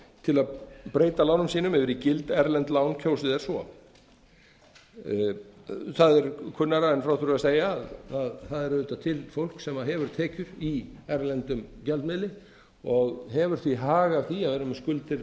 til að breyta lánum sínum yfir í gild erlend lán kjósi þeir svo það er kunnara en frá þurfi að segja að það er auðvitað til fólk sem hefur tekjur í erlendum gjaldmiðli og hefur því hag af því að vera með skuldir